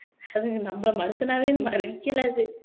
அதுங்க நம்மளை மனுஷனாவே மதிக்கலை அது